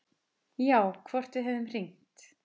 Já, hvort við hefðum hringt.